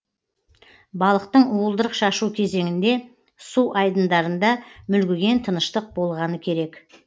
балықтың уылдырық шашу кезеңінде су айдындарында мүлгіген тыныштық болғаны керек